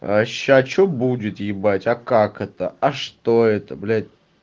а сейчас что будет ебать а как это а что это блять